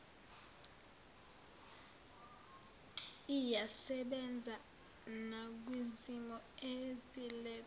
iyasebenza nakwizimo ezilethwa